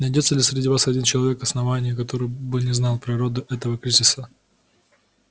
найдётся ли среди вас хоть один человек основания который бы не знал природу этого кризиса